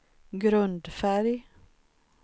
grundfärg